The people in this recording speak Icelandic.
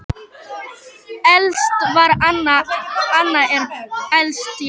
Elst var Anna, Anna er elst, já.